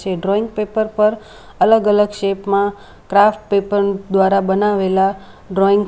જે drawing paper પર અલગ અલગ શેપ માં ક્રાફ્ટ પેપર દ્વારા બનાવેલા ડ્રોઈંગ --